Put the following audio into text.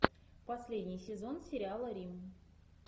последний сезон сериала рим